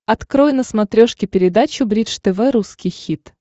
открой на смотрешке передачу бридж тв русский хит